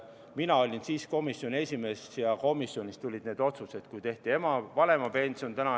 Mina olin siis komisjoni esimees ja komisjonist tulid need otsused, kui tehti praegune vanemapension.